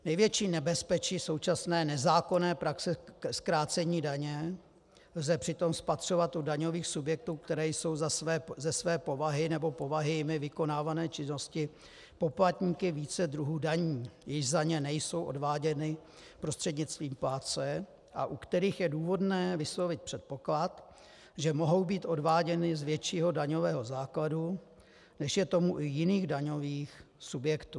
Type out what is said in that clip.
Největší nebezpečí současné nezákonné praxe zkrácení daně lze přitom spatřovat u daňových subjektů, které jsou ze své povahy nebo povahy jimi vykonávané činnosti poplatníky více druhů daní, jež za ně nejsou odváděny prostřednictvím plátce a u kterých je důvodné vyslovit předpoklad, že mohou být odváděny z většího daňového základu, než je tomu u jiných daňových subjektů.